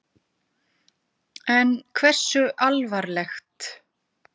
En hversu alvarleg?